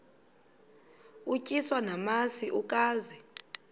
utyiswa namasi ukaze